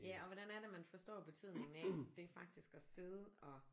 Ja og hvordan er det man forstår betydningen af det faktisk at sidde og